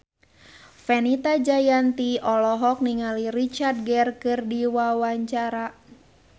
Fenita Jayanti olohok ningali Richard Gere keur diwawancara